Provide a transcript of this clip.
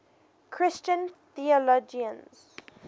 christian theologians